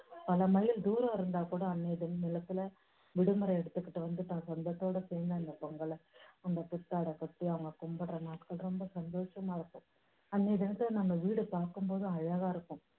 பல mile தூரம் இருந்தா கூட அன்னைய தினத்துல விடுமுறை எடுத்துக்கிட்டு வந்துட்டு சொந்தத்தோடு சேர்ந்து அந்தப் பொங்கலை அந்த புத்தாடை போட்டு அவங்க கும்பிடுற நாட்கள் ரொம்ப சந்தோஷமா இருக்கும். அன்னைய தினத்துல நம்ம வீடை பார்க்கும் போது அழகா இருக்கும்.